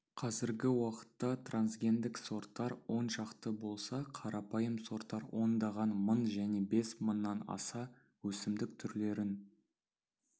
қазіргі уақытта трансгендік сорттар он шақты болса қарапайым сорттар ондаған мың және бес мыңнан аса өсімдік түрлерін